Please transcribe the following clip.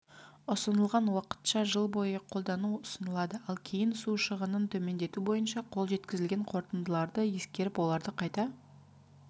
ұсынылған уақытша жыл бойы қолдану ұсынылады ал кейін су шығынын төмендету бойынша қол жеткізілген қорытындыларды ескеріп оларды қайта